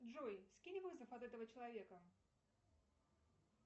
джой скинь вызов от этого человека